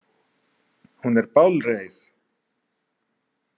Hún er bálreið.